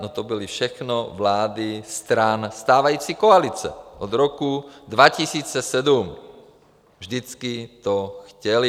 No to byly všechno vlády stran stávající koalice od roku 2007, vždycky to chtěly.